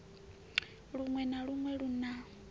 luṅwe na luṅwe lu na